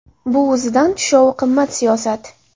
Bu o‘zidan tushovi qimmat siyosat.